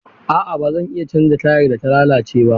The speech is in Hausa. A'a ba zan iya canza tayar da ta lalace ba.